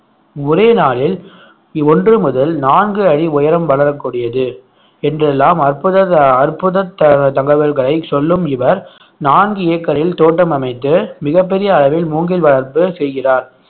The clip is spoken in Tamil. ஒரே நாளில் ஒன்று முதல் நான்கு அடி உயரம் வளரக்கூடியது என்றெல்லாம் அற்புத த~ அற்புத த~ தகவல்களை சொல்லும் இவர் நான்கு ஏக்கரில் தோட்டம் அமைத்து மிகப் பெரிய அளவில் மூங்கில் வளர்ப்பு செய்கிறார்